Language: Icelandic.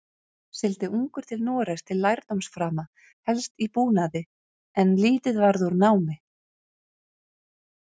Sigldi ungur til Noregs til lærdómsframa, helst í búnaði, en lítið varð úr námi.